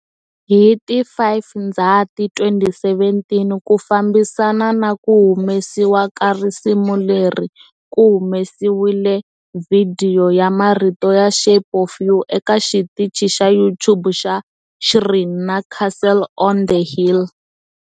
Hi ti 5 Ndzhati 2017, ku fambisana na ku humesiwa ka risimu leri, ku humesiwile vhidiyo ya marito ya"Shape of You" eka xitichi xa YouTube xa Sheeran na"Castle on the Hill".